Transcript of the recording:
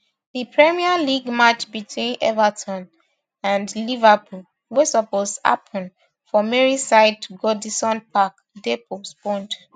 di premier league match between everton v liverpool wey suppose happun for merseyside goodison park dey postponed